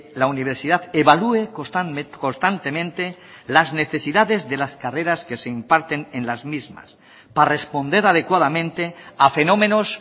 la universidad evalúe constantemente las necesidades de las carreras que se imparten en las mismas para responder adecuadamente a fenómenos